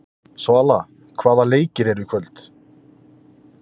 Svala, hvaða leikir eru í kvöld?